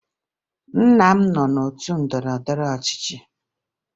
Nna m nọ n'otu ndọrọndọrọ ọchịchị